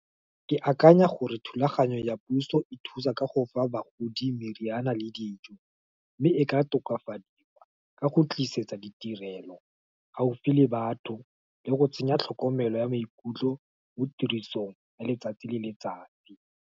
Ke akanya gore thulaganyo ya puso, e thusa ka go fa bagodi meriana, le dijo, mme e ka tokafadiwa, ka go tlisetsa ditirelo, gaufi le batho, le go tsenya tlhokomelo ya maikutlo mo tirisong, ya letsatsi le letsatsi.